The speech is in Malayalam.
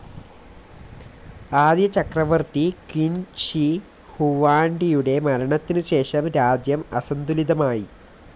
ആദ്യ ചക്രവർത്തി ക്വിൻ ഷി ഹുവാൻഡിയുടെ മരണത്തിനുശേഷം രാജ്യം അസന്തുലിതമായി.